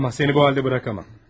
Olmaz, səni bu halda buraxa bilmərəm.